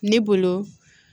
Ne bolo